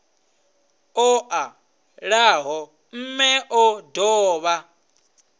o ṱalaho mme o dovha